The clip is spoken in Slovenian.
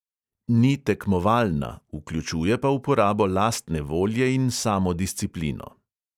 Ni tekmovalna, vključuje pa uporabo lastne volje in samodisciplino.